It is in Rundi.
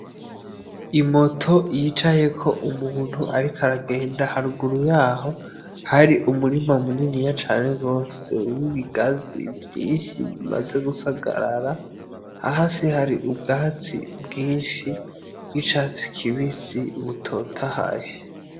Imoto yicayeko umuntu, ariko aragenda haruguru yaho hari umurima mu nini ya cane rwose wo'ibigazi vyinshi bimaze gusagarara haho si hari ubwatsi bwinshi bw'icatsi kibisi ubutota hahe.